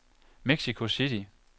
Mexico City